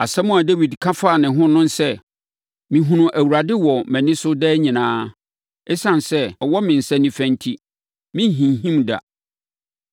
Asɛm a Dawid ka faa ne ho ne sɛ, “Mehunu Awurade wɔ mʼani so daa nyinaa. Esiane sɛ ɔwɔ me nsa nifa enti, merenhinhim da.